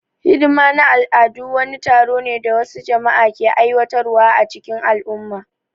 Hidima na al'adu wani taro ne da wasu jama'a ke aiwatar wa a cikin al'umma